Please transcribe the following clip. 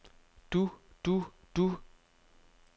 du du du